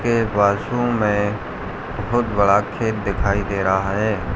के बाजु में बहोत बड़ा खेत दिखाई दे रहा है।